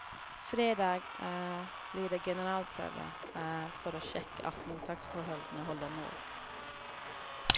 Fredag blir det generalprøve, for å sjekke at mottaksforholdene holder mål.